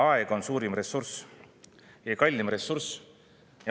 Aeg on suurim ja kalleim ressurss.